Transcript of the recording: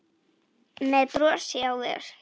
með brosi á vör.